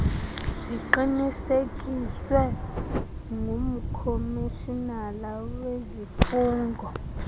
ziqinisekiswe ngumkomishinala wezifungo